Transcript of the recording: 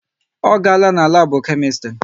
Ọ garala n'labu Kemistri?